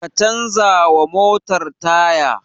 Ka canza wa motar taya!